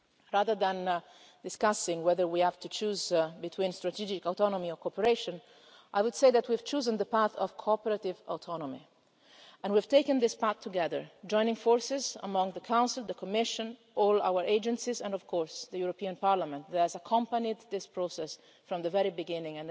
word. Rather than discussing whether we have to choose between strategic autonomy or cooperation, I would say that we have chosen the path of cooperative autonomy and we've taken this path together, joining forces among the Council, the Commission, all our agencies and, of course, the European Parliament, which has accompanied this process from the very beginning.